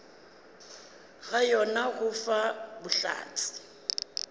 ga yona go fa bohlatse